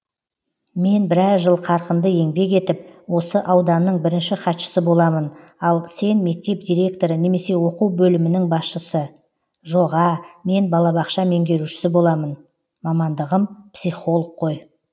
мен біраз жыл қарқынды еңбек етіп осы ауданның бірінші хатшысы боламын ал сен мектеп директоры немесе оқу бөлімінің басшысы жоға мен балабақша меңгерушісі боламын мамандығым психолог қой